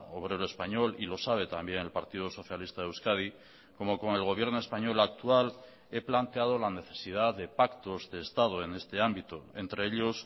obrero español y lo sabe también el partido socialista de euskadi como con el gobierno español actual he planteado la necesidad de pactos de estado en este ámbito entre ellos